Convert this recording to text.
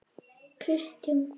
Kristjón